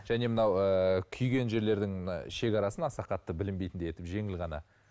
және мынау ыыы күйген жерлердің шекарасын аса қатты білінбейтіндей етіп жеңіл ғана